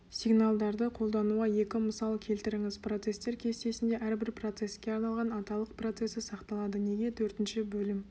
сигналдарды қолдануға екі мысал келтіріңіз процестер кестесінде әрбір процеске арналған аталық процесі сақталады неге төртінші бөлім